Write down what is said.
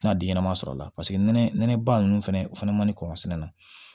Tina den ɲɛnama sɔrɔ a la paseke nɛnɛba ninnu fɛnɛ o fɛnɛ maɲi kɔkɔ sɛnɛ na